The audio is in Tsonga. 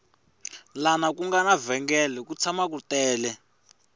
lana ku nga na vhengele ku tshama ku tele